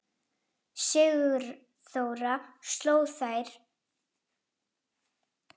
Sigþóra sló sér á lær.